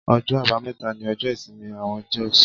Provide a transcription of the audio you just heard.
Ọjọ́ àbámẹ́ta ní ọjọ́ ìsinmi àwọn Jews.